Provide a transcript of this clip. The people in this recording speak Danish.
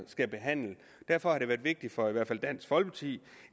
skal behandle derfor har det været vigtigt for i hvert fald dansk folkeparti